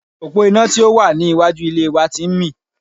Òpó iná tí ò wà ní iwájú ilé wa ti ń mì